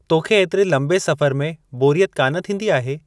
तोखे ऐतिरे लंबे सफ़र में बोरियत कान थींदी आहे?